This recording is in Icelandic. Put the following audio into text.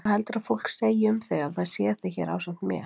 Hvað heldurðu að fólk segi um þig ef það sér þig hér ásamt mér?